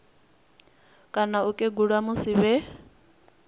kana u kegula musi vhe